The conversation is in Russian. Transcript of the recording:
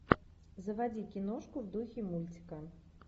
заводи киношку в духе мультика